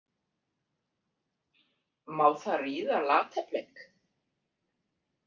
Má það ríða Lata- Bleik?